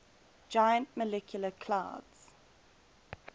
giant molecular clouds